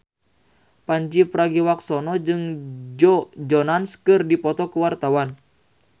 Pandji Pragiwaksono jeung Joe Jonas keur dipoto ku wartawan